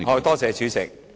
多謝主席。